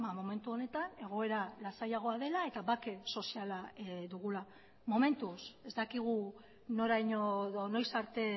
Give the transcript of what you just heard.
momentu honetan egoera lasaiagoa dela eta bake soziala dugula momentuz ez dakigu noraino edo noiz arte